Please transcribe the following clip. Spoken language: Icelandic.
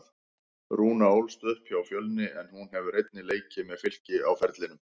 Rúna ólst upp hjá Fjölni en hún hefur einnig leikið með Fylki á ferlinum.